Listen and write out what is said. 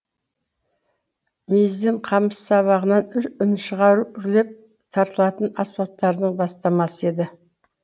мүйізден қамыс сабағынан үн шығару үрлеп тартылатын аспаптардың бастамасы еді